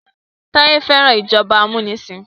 Taye fẹ́ràn ìjọba amunisin.